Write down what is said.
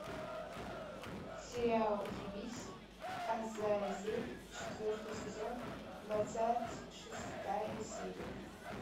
сериал явись азазель четвертый сезон двадцать шестая серия